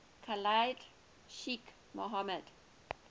khalid sheikh mohammed